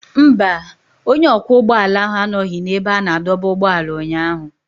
Mba, onye ọkwọ ụgbọala ahụ anọghị n'ebe a na-adọba ụgbọala ụnyaahụ.